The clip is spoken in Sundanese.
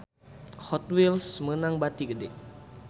Hot Wheels meunang bati gede